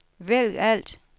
vælg alt